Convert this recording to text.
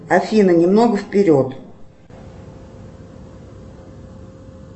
афина немного вперед